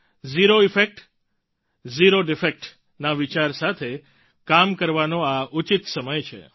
zero effect zero defect ના વિચાર સાથે કામ કરવાનો આ ઉચિત સમય છે